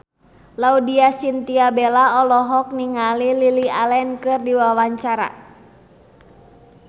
Laudya Chintya Bella olohok ningali Lily Allen keur diwawancara